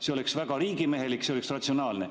See oleks väga riigimehelik, see oleks ratsionaalne.